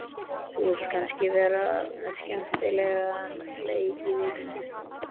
Þú vilt kannski vera með skemmtilegan leik í vinnunni?